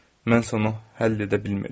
Mən isə onu həll edə bilmirdim.